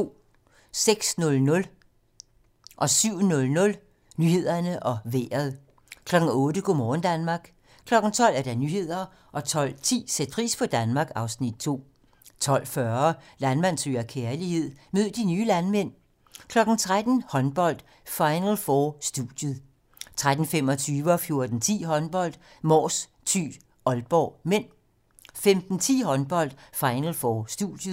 06:00: Nyhederne og Vejret (lør-søn) 07:00: Nyhederne og Vejret 08:00: Go' morgen Danmark 12:00: Nyhederne 12:10: Sæt pris på Danmark (Afs. 2) 12:40: Landmand søger kærlighed - mød de nye landmænd 13:00: Håndbold: Final 4 - studiet 13:25: Håndbold: Mors-Thy - Aalborg (m) 14:10: Håndbold: Mors-Thy - Aalborg (m) 15:10: Håndbold: Final 4 - studiet